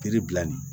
Kiri bila nin